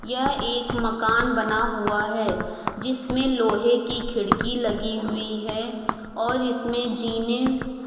यह एक मकान बना हुआ है। जिसमे लोहे की खिड़की लगी हुई है और इसमे जीने --